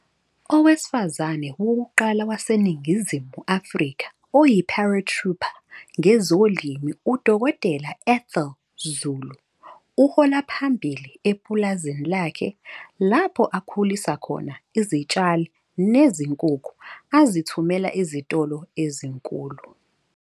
Owesifazane wokuqala waseNingizimu Afrika oyi-paratrooper ngezolimo UDkt Ethel Zulu uhola phambili epulazini lakhe lapho akhulisa khona izitshalo nezinkukhu azithumela ezitolo ezinkulu.